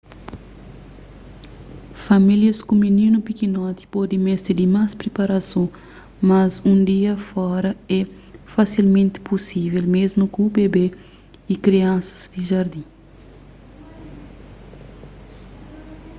famílias ku mininu pikinoti pode meste di más priparason mas un dia fora é fasilmenti pusível mésmu ku bebe y kriansas di jardin